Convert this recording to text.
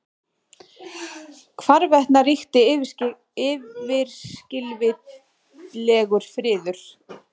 Hvarvetna ríkti yfirskilvitlegur friður.